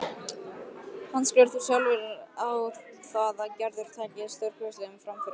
Handskrifar þá sjálfur á það að Gerður taki stórkostlegum framförum.